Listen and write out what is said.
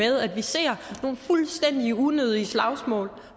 at vi ser nogle fuldstændig unødige slagsmål